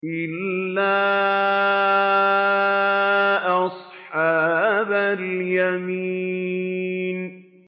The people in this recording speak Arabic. إِلَّا أَصْحَابَ الْيَمِينِ